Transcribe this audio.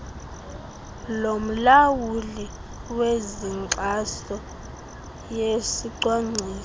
lomlawuli wezenkxaso yesicwangciso